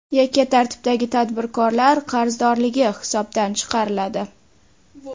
Yakka tartibdagi tadbirkorlar qarzdorligi hisobdan chiqariladi.